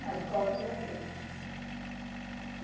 Nas costas e aqui.